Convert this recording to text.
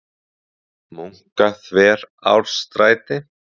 Munkaþverárstræti